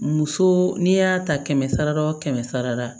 Muso n'i y'a ta kɛmɛ sara la o kɛmɛ sara la